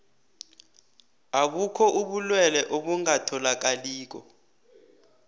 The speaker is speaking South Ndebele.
abukho ubulwelwe obungatholakaliko